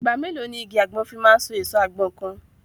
Ìgbà mélòó ni igi àgbọn fi máa so èso àgbọn kan?